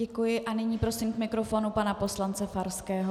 Děkuji a nyní prosím k mikrofonu pana poslance Farského.